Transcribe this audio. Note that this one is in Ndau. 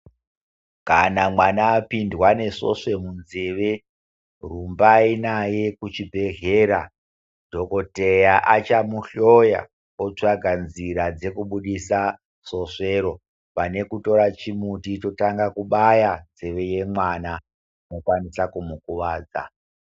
Kana mwana apindwa nesvosve munzeve rumbai naye kuchibhedhleya , dhokoteya achamuhloya otsvaka nzira dzekubudisa svosvero pane kutora chimuti totanga kubaya nzeve iya yemwana munokwanisa kumukuwadza .